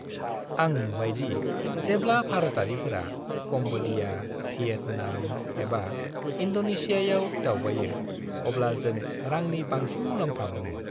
आं नुबाय दि जेब्ला भारतारिफोरा काम्ब'डिया, भियेटनाम एबा इन्ड'नेशियाआव दावबायो अब्ला जों रांनि बांसिन मुलाम्फा मोनो।